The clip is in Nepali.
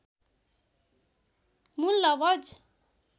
मूल लवज